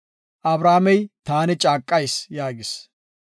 Abrahaamey, “Taani caaqayis” yaagis.